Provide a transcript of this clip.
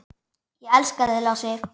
Ég elska þig, Lási.